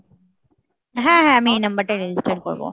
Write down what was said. হ্যাঁ হ্যাঁ আমি এই নাম্বারটায় register করবো